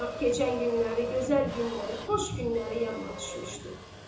Ancaq keçən günləri, gözəl günləri, xoş günləri yadına düşmüşdü.